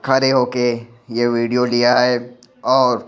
खड़े होके ये वीडियो लिया हैऔर--